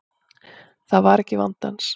Það var ekki vandi hans.